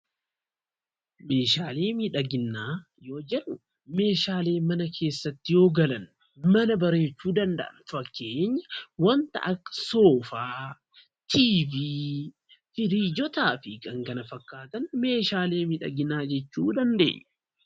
Meeshaalee miidhaginaa yoo jennu meeshaalee mana keessatti yoo galan mana bareechuu danda'an. Fakkeenya waanta akka Soofaa, TV, firiijotaa fi kan kana fakkaatan meeshaalee miidhaginaa jechuu dandeenya.